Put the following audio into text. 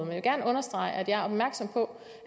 vil gerne understrege at jeg er opmærksom på